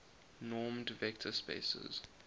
normed vector spaces